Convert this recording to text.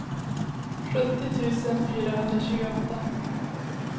sjuttio tusen fyrahundratjugoåtta